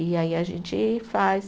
E aí a gente faz.